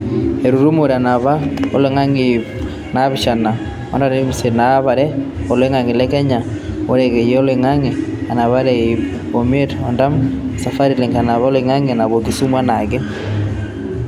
Etutumore enapare oloingange e iip naapishana o artam osiet enapare oloingange e Kenya orekeyie loloingange, enapare o iip imiet ortam o Safari Link, enapare oloingange naapuo Kisumu enaake.